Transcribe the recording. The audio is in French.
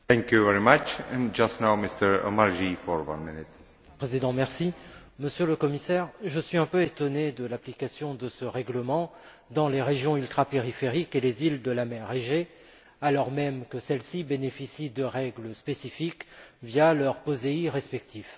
Monsieur le Président, Monsieur le Commissaire, je suis un peu étonné de l'application de ce règlement dans les régions ultrapériphériques et les îles de la mer Égée, alors même que celles ci bénéficient de règles spécifiques via leurs POSEI respectifs.